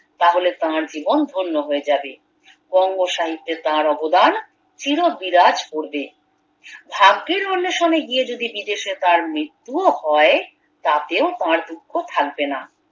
তাহলে তার জীবন ধন্য হয়ে যাবে বঙ্গসাহিত্যে তার অবদান চির বিরাজ করবে ভাগ্যের অন্বেষণে গিয়ে যদি বিদেশে তার মৃত্যুও হয় তাতেও তার দুঃখ থাকবে না